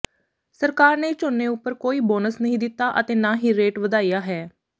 ਸਰਕਾਰ ਨੇ ਝੋਨੇ ਉਪਰ ਕੋਈ ਬੋਨਸ ਨਹੀਂ ਦਿੱਤਾ ਅਤੇ ਨਾ ਰੇਟ ਵਧਾਇਆ ਹੈ